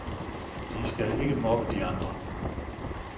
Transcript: De skal ikke mobbe de andre.